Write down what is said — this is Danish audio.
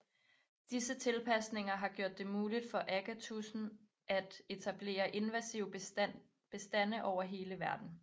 Disse tilpasninger har gjort det muligt for agatudsen at etablere invasive bestande over hele verden